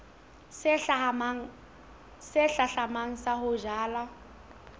se hlahlamang sa ho jala